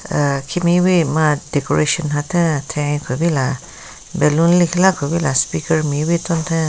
Aaa khimewi ma decoration hatheng athae kupila ballon lekhila kupila speaker mewi tuntheng.